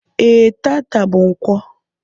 E, taata bú ǹkwọ